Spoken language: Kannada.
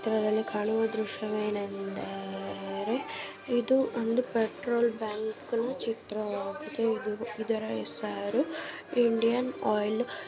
ಇಲಿಚಿತ್ರದಲ್ಲಿ ಕಾಣುವ ದೃಶ್ಯ ವೇನೆಂದರೆ ಇದು ಒಂದು ಪೆಟ್ರೋಲ್ ಬಂಕ್ ನ ಚಿತ್ರ ವಾಗಿದೆ ಇದರ್ ಹೆಸರು ಇಡೈನ್ ಆಯಿಲ್ --